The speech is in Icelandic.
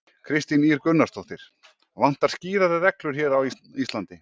Kristín Ýr Gunnarsdóttir: Vantar skýrari reglur hér á Íslandi?